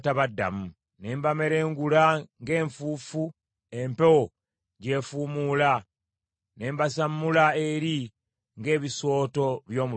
Ne mbamerengula ng’enfuufu empewo gy’efuumuula; ne mbasammula eri ng’ebisooto by’omu luguudo.